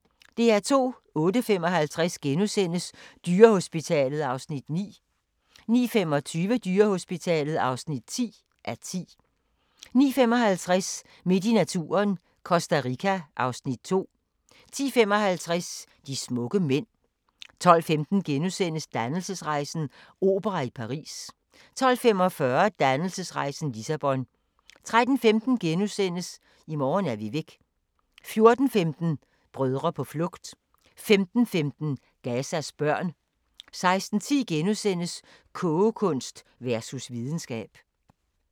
08:55: Dyrehospitalet (9:10)* 09:25: Dyrehospitalet (10:10) 09:55: Midt i naturen - Costa Rica (Afs. 2) 10:55: De smukke mænd 12:15: Dannelsesrejsen - opera i Paris * 12:45: Dannelsesrejsen - Lissabon 13:15: I morgen er vi væk * 14:15: Brødre på flugt 15:15: Gazas børn 16:10: Kogekunst versus videnskab *